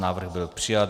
Návrh byl přijat.